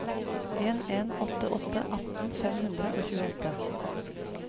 en en åtte åtte atten fem hundre og tjueåtte